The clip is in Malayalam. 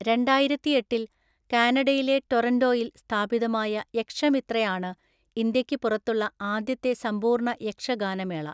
രണ്ടായിരത്തിഎട്ടില്‍ കാനഡയിലെ ടൊറന്റോയിൽ സ്ഥാപിതമായ യക്ഷമിത്രയാണ് ഇന്ത്യയ്ക്ക് പുറത്തുള്ള ആദ്യത്തെ സമ്പൂർണ്ണ യക്ഷഗാനമേള.